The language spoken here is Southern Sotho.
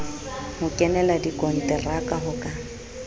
ho kenela dikonteraka ho ka